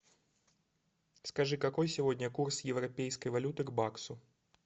скажи какой сегодня курс европейской валюты к баксу